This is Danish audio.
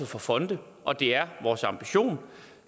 for fonde og det er vores ambition